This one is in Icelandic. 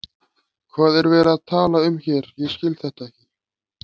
Óvíst er um ástæðu fyrrnefndrar undanþágu.